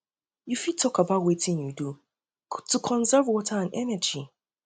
you um fit talk about talk about wetin you do um to conserve um water and energy